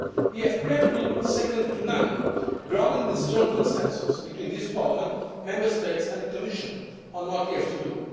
gets. We have credibility second to none, grounded in a strong consensus between this Parliament, Member States and the Commission on what we have